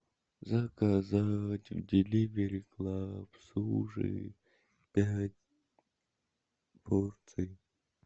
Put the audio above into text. заказать в деливери клаб суши пять порций